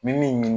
Min